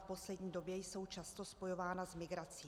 V poslední době jsou často spojována s migrací.